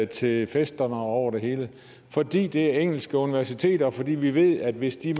til festerne og over det hele fordi det er engelske universiteter og fordi vi ved at hvis de